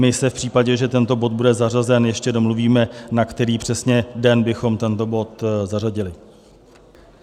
My se v případě, že tento bod bude zařazen, ještě domluvíme, na který přesně den bychom tento bod zařadili.